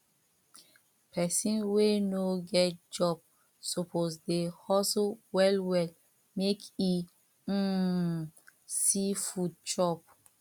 pesin wey no get job suppose dey hustle well well make e um see food chop